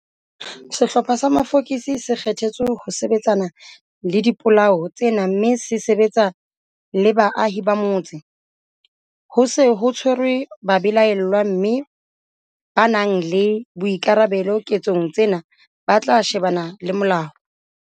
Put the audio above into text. Sehlopha sa mafokisi se kgethetswe ho sebetsana le dipolao tsena mme se sebetsa le baahi ba motse. Ho se ho tshwerwe babelaellwa mme ba nang le boikarabelo ketsong tsena ba tla shebana le molao.